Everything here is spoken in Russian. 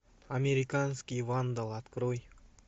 американский вандал открой